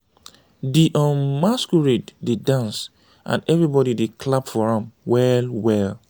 di um masquerade dey dance and everybody dey clap for am well well.